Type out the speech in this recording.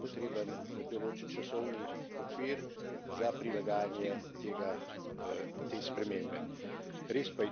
In zato je potreben določen časovni okvir za prilagajanje tej spremembi.